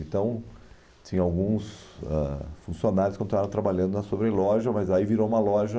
Então, tinha alguns ãh funcionários que estavam trabalhando na sobreloja, mas aí virou uma loja...